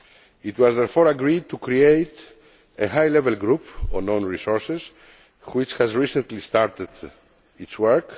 It was therefore agreed to create a high level group on own resources which has recently started its work.